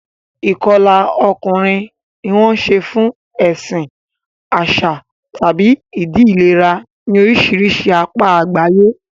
Ìkọlà ọkùnrin ni wọ́n ń ṣe fún ẹ̀sìn, àṣà, tàbí ìdí ìlera ní oríṣiríṣi apá àgbáyé.